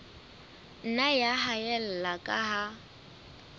nna ya haella ka ha